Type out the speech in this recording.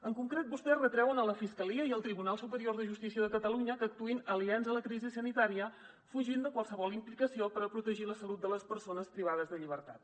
en concret vostès retreuen a la fiscalia i al tribunal superior de justícia de catalunya que actuïn aliens a la crisi sanitària fugint de qualsevol implicació per protegir la salut de les persones privades de llibertat